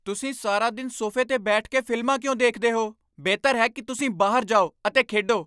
ਤੁਸੀਂ ਸਾਰਾ ਦਿਨ ਸੋਫੇ 'ਤੇ ਬੈਠ ਕੇ ਫ਼ਿਲਮਾਂ ਕਿਉਂ ਦੇਖਦੇ ਹੋ? ਬਿਹਤਰ ਹੈ ਕਿ ਤੁਸੀਂ ਬਾਹਰ ਜਾਓ ਅਤੇ ਖੇਡੋ!